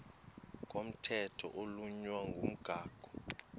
komthetho oflunwa ngumgago